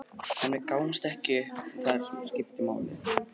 En við gáfumst ekki upp og það er það sem skiptir máli.